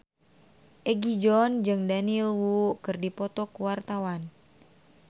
Egi John jeung Daniel Wu keur dipoto ku wartawan